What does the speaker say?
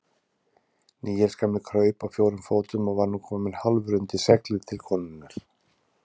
Níels gamli kraup á fjórum fótum og var nú kominn hálfur undir seglið til konunnar.